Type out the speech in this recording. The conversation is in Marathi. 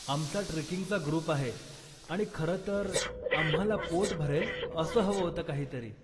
आमचा ट्रेकिंगचा ग्रुप आहे, आणि खरंतर, आम्हाला पोट भरेल असं हवं होतं काहीतरी.